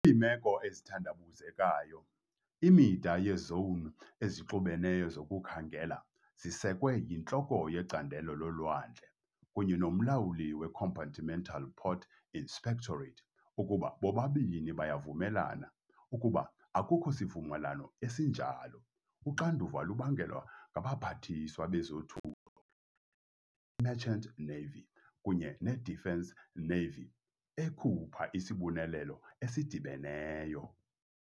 Kwiimeko ezithandabuzekayo, imida yezowuni ezixubeneyo zokukhangela zisekwe yintloko yecandelo lolwandle kunye nomlawuli weCompartmental Port Inspectorate ukuba bobabini bayavumelana. Ukuba akukho sivumelwano esinjalo, uxanduva lubangelwa ngabaPhathiswa bezoThutho, i-Merchant Navy kunye ne-Defence, Navy, ekhupha isibonelelo esidibeneyo.